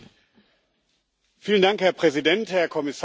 Herr Präsident, Herr Kommissar, liebe Kolleginnen und Kollegen!